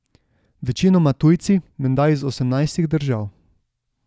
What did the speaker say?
Večinoma tujci, menda iz osemnajstih držav.